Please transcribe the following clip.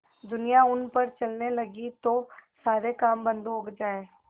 दुनिया उन पर चलने लगे तो सारे काम बन्द हो जाएँ